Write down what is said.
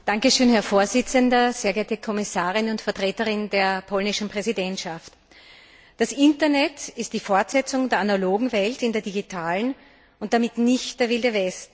Herr Präsident, sehr geehrte Kommissarin und Vertreterin der polnischen Präsidentschaft! Das Internet ist die Fortsetzung der analogen Welt in der digitalen und damit nicht der Wilde Westen.